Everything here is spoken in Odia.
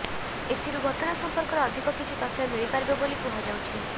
ଏଥିରୁ ଘଟଣା ସମ୍ପର୍କରେ ଅଧିକ କିଛି ତଥ୍ୟ ମିଳିପାରିବ ବୋଲି କୁହାଯାଉଛି